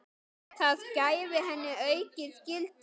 Það gæfi henni aukið gildi.